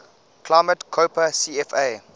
climate koppen cfa